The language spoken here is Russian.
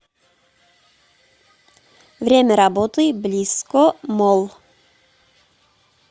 время работы блисско молл